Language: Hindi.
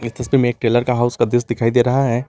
इस तस्वीर में एक टेलर का हाउस का दृश्य दिखाई दे रहा है।